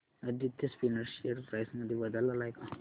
Aditya spinners share price मध्ये बदल आलाय का